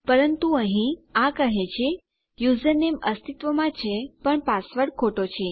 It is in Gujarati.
પરંતુ અહીં આ કહે છે યુઝરનેમ અસ્તિત્વમાં છે પણ પાસવર્ડ ખોટો છે